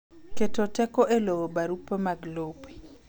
Keto teko e luwo barupe mag lope.